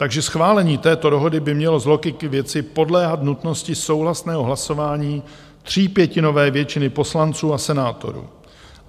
Takže schválení této dohody by mělo z logiky věci podléhat nutnosti souhlasného hlasování třípětinové většiny poslanců a senátorů.